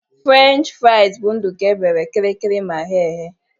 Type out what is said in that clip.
French fraịz bụ nduku e bere kịrịrịrị ma ghee eghe.